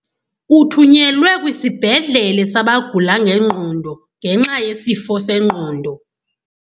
Uthunyelwe kwisibhedlele sabagula ngengqondo ngenxa yesifo sengqondo.